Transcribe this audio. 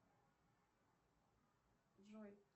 джой